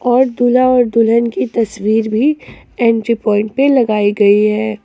और दूल्हा और दुल्हन की तस्वीर भी एंट्री पॉइंट पे लगाई गई है।